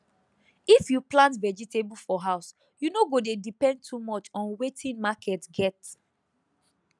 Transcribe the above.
if you plant vegetable for house you no go dey depend too much on wetin market get